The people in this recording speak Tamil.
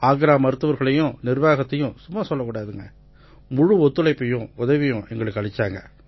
ஆக்ரா மருத்துவர்களையும் நிர்வாகத்தையும் சும்மா சொல்லக்கூடாது முழு ஒத்துழைப்பும் உதவியும் அளிச்சாங்க